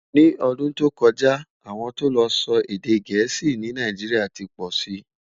ní ọdún tó kojá, àwọn tó ló sọ èdè gèésì ní Nàìjíríà tí pósí